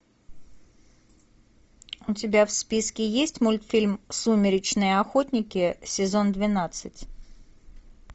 у тебя в списке есть мультфильм сумеречные охотники сезон двенадцать